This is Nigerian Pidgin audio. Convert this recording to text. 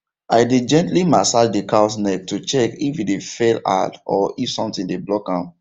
i dey gently massage the cows neck to check if e dey fell hard or if something dey block am